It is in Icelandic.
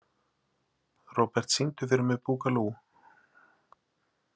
Robert, syngdu fyrir mig „Búkalú“.